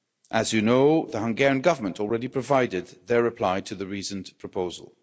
As you know, the Hungarian Government already provided their reply to the reasoned proposal.